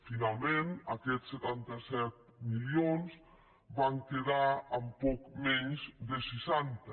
finalment aquests setanta set milions van quedar en poc menys de seixanta